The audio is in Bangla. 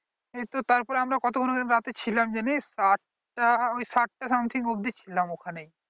কিন্তু আমরা কতক্ষণ রাতে ছিলাম জানিস আটটা ঐ সাতটা something ছিলাম ওখানে